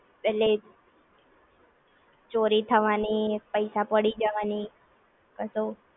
એટલે ચોરી થવાની પૈસા પડી જવાની